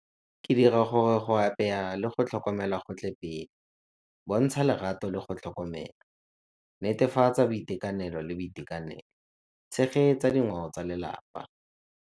Ke dira gore go apeya le go tlhokomela go tle pele. Bontsha lerato le go tlhokomela, netefatsa boitekanelo le boitekanelo, tshegetsa dingwao tsa lelapa.